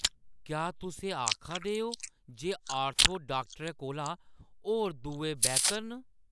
क्या तुस एह् आखा दे ओ जे ऑर्थो डाक्टरै कोला होर दुए बेह्‌तर न?